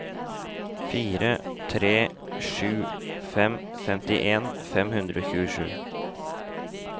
fire tre sju fem femtien fem hundre og tjuesju